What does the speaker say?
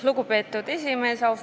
Lugupeetud esimees!